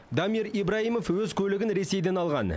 дамир ибраимов өз көлігін ресейден алған